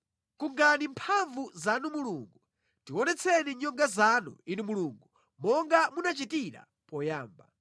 Kungani mphamvu zanu Mulungu; tionetseni nyonga zanu, Inu Mulungu, monga munachitira poyamba.